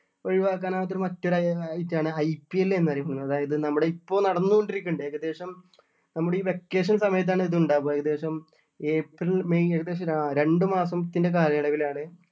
ഒഴിവാക്കാൻ ആവാത്ത ഒരു മറ്റൊരു item ആണ് IPL എന്ന് പറയുന്നത് അതായത് നമ്മുടെ ഇപ്പൊ നടന്നുകൊണ്ട് ഇരിക്കുന്നുണ്ട് ഏകദേശം നമ്മുടെ ഈ vacation സമയത്ത് ആണ് ഇത് ഉണ്ടാവുക ഏകദേശം ഏപ്രിൽ മെയ് ഏകദേശം ആഹ് രണ്ട് മാസത്തിൻ്റെ കാലയളവിൽ ആണ്